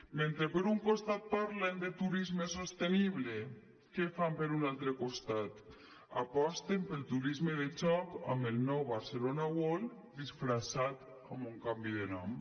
mentre per un costat parlen de turisme sostenible què fan per un altre costat aposten pel turisme de joc amb el nou barcelona world disfressat amb un canvi de nom